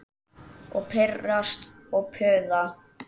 Og pirrast og puða.